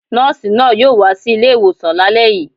Nọ́ọ̀sì náà yóò wá sí ilé-ìwòsàn lálẹ́ yìí